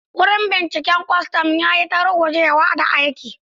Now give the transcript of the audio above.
Wurin binciken kwastam ya yi ta rugujewa da aiki.